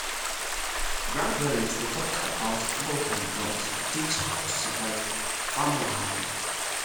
grandparents dey talk about flood and drought to teach how to how to survive farm wahala.